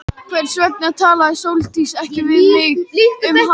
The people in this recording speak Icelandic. Hvers vegna talaði Sóldís ekki við mig um hattinn?